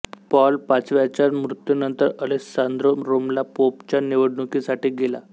Paul पाचव्याच्या मृत्युनंतर Alessandro रोमला पोपच्या निवडणुकीसाठी गेला